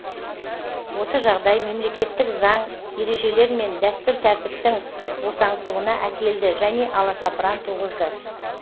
осы жағдай мемлекеттік заң ережелер мен дәстүр тәртіптің босаңсуына әкелді және аласапыран туғызды